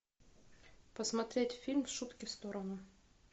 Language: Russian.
посмотреть фильм шутки в сторону